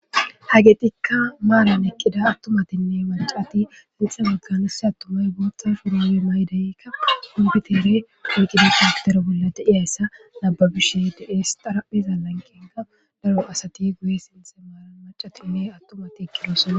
hageetikka maalan eqqida attumatinne macati sintha mekanise attumay booththa furoowe maydeykka hungitere puqida kaaktera bolla deiyayssa nababishe de7es xarapheza lanqenga daro asati guye sinthe maaran macatinne attumati eqqdosona